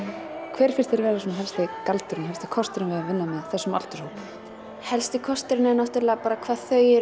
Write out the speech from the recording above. hver finnst þér vera svona helsti galdurinn helsti kosturinn við að vinna með þessu aldurshópi helsti kosturinn er náttúrulega bara hvað þau eru